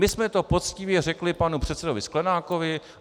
My jsme to poctivě řekli panu předsedovi Sklenákovi.